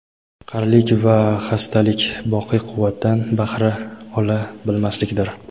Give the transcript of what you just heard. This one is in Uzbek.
qarilik va xastalik — boqiy quvvatdan bahra ola bilmaslikdir.